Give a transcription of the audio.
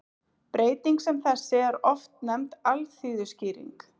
Breyting sem þessi er oft nefnd alþýðuskýring.